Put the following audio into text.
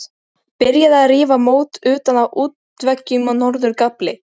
Byrjað að rífa mót utan af útveggjum á norður gafli.